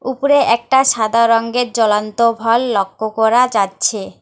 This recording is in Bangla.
উপরে একটা সাদা রঙ্গের জ্বলন্ত ভল লক্ষ্য করা যাচ্ছে।